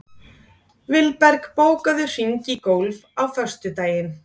Vilberg, bókaðu hring í golf á föstudaginn.